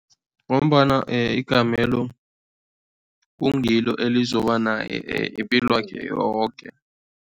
Ngombana igamelo kungilo elizoba naye ipilwakhe yoke.